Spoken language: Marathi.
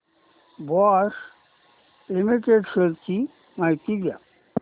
बॉश लिमिटेड शेअर्स ची माहिती द्या